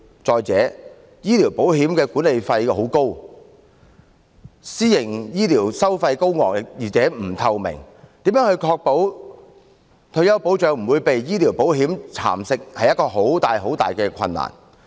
再者，醫療保險的管理費很高，私營醫療收費高昂而且不透明，如何確保退休保障不會被醫療保險蠶食，實在非常困難。